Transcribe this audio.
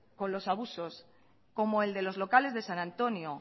con los abusos como el de los locales de san antonio